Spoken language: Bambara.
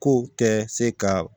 Ko kɛ se ka